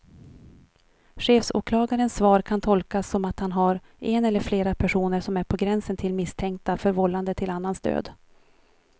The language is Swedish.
Chefsåklagarens svar kan tolkas som att han har en eller flera personer som är på gränsen till misstänkta för vållande till annans död.